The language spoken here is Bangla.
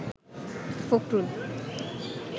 ফখরুল